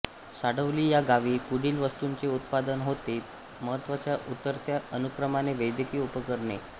साडवली ह्या गावी पुढील वस्तूंचे उत्पादन होते महत्वाच्या उतरत्या अनुक्रमाने वैद्यकीय उपकरणे